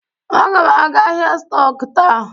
Aga m aga ahịa stọk taa.